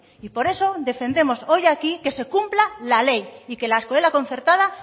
y por eso defendemos hoy aquí que se cumpla la ley y que la escuela concertada